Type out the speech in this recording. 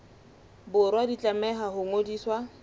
borwa di tlameha ho ngodiswa